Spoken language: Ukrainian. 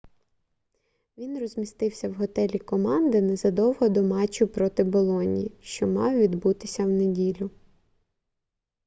він розмістився в готелі команди незадовго до матчу проти болоньї що мав відбутися в неділю